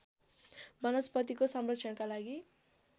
वनस्पतिको संरक्षणका लागि